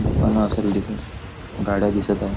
दुकान असेल तिथ गाड्या दिसत आहे.